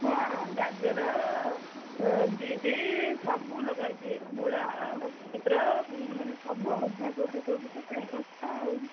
ହଁ, ଗାଜର, ବିଟ ସବୁଲଗାହେଇଛି ମୂଳା ଆଉ କ ଧନିଆପତର ମାନେ ସବୁ, ବନ୍ଧାକୋବି ଫୋବି ତ ପୁରା, ଶସ୍ତା ଆଉ।